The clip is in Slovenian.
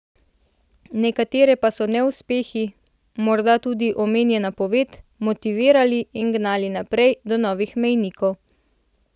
Nekatere pa so neuspehi, morda tudi omenjena poved, motivirali in gnali naprej do novih mejnikov.